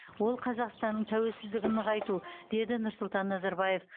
ол қазақстанның тәуелсіздігін нығайту деді нұрсұлтан назарбаев